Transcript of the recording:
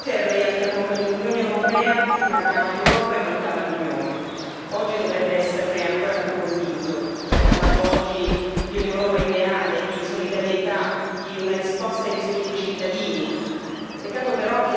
Signor Presidente, onorevoli colleghi, un anno fa, Presidente Juncker, lei affermò che nell'Unione europea mancava l'Europa e mancava l'Unione. Oggi dovrebbe esserne ancora più convinto. Ci ha parlato oggi di un'Europa ideale, di solidarietà, di una risposta ai bisogni dei cittadini.